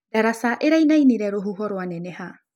Daraca ĩraĩnaĩnĩre rũhũho rwaneneha.